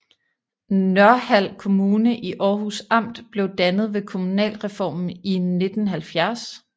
Nørhald Kommune i Århus Amt blev dannet ved kommunalreformen i 1970